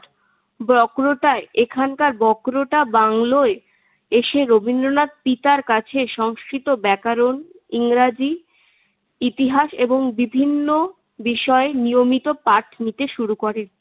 বক্রটায় এখানকার বক্রটা বাংলোয় এসে রবীন্দ্রনাথ পিতার কাছে সংস্কৃত ব্যাকরণ, ইংরেজি, ইতিহাস এবং বিভিন্ন বিষয়ে নিয়মিত পাঠ নিতে শুরু করেন।